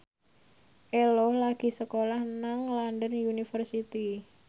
Ello lagi sekolah nang London University